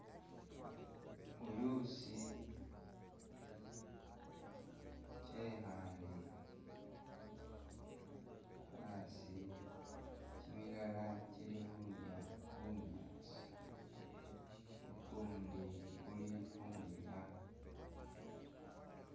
Buyusi kyekhale asi kimilala kili khulya bunyaasi ukundi kuli khu khwinyaya.